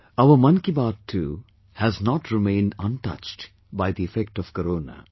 Our Mann ki Baat too has not remained untouched by the effect of Corona